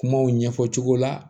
Kumaw ɲɛfɔ cogo la